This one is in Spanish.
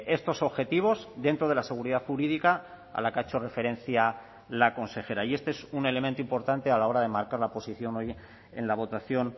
estos objetivos dentro de la seguridad jurídica a la que ha hecho referencia la consejera y este es un elemento importante a la hora de marcar la posición hoy en la votación